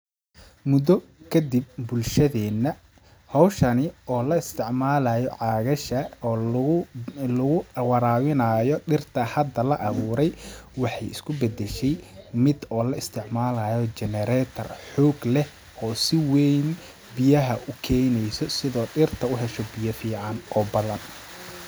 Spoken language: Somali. Muddo kadib bulshadeena ,hawshani oo la isticmalaayo caagasha oo lagu ,lagu waraabinaayo dhirta hada la awuuray waxeey isku badashay mid oo la isticmalaayo generetor xoog leh si weyn biyaha u keeneyso ,sida dhirta u hesho biya fiican oo badan